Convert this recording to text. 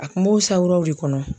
A kun b'o sanwuraw de kɔnɔ.